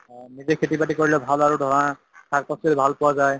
নিজে খেতি বাতি কৰিলে ভাল আৰু ধৰা শাক পাচলী ভাল পোৱা যায়